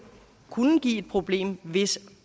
kunne give et problem hvis